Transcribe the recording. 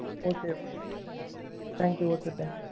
Okay okay thanks you okay thank you